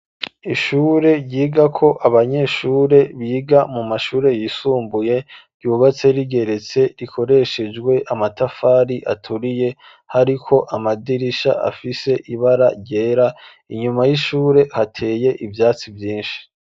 Ishure ryigako abanyeshure biga mu mashure yisumbuye ryubatse rigeretse rikoreshejwe amatafari aturiye hariko amadirisha afise ibara ryera inyuma y'ishure hateye ivyatsi vyinshi.